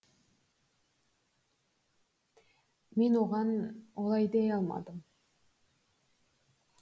мен оған олай дей алмадым